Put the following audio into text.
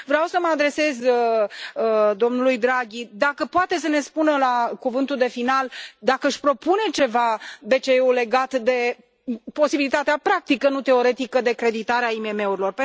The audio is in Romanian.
Vreau să mă adresez domnului Draghi, dacă poate să ne spună la cuvântul de final dacă își propune ceva BCE legat de posibilitatea practică, nu teoretică, de creditare a IMM urilor.